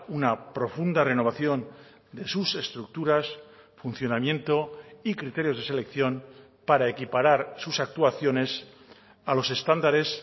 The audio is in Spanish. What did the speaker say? una profunda renovación de sus estructuras funcionamiento y criterios de selección para equiparar sus actuaciones a los estándares